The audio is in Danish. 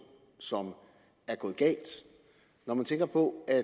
som er gået galt når man tænker på at